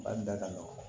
Ba da ka nɔgɔ